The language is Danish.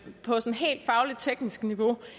sådan helt fagligt tekniske niveau